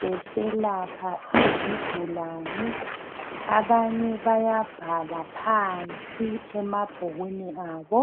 beselapha izigulani abanye bayabhala phansi emabhukwini abo